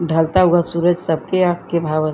ढलता हुआ सूरज सब के आँख के भावल --